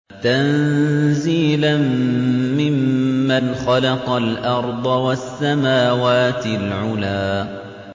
تَنزِيلًا مِّمَّنْ خَلَقَ الْأَرْضَ وَالسَّمَاوَاتِ الْعُلَى